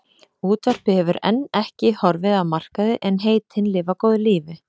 Útvarpið hefur enn ekki horfið af markaði en heitin lifa góðu lífi.